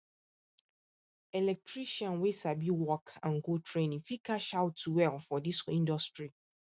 electrician wey sabi work and go training fit cash out well for this industry